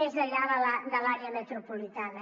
més enllà de l’àrea metropolitana